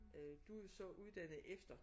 Øh du er så uddannet efter